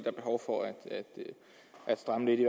er behov for at at stramme lidt i